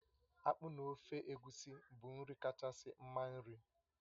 Akpụ na ofe egusi bụ nri kachasị mma nri